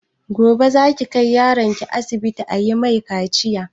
Gobe za ki kai yaron ki asibiti ayi mai kaciya?